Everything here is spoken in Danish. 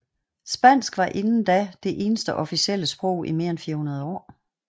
Spansk var inden da det eneste officielle sprog i mere end 400 år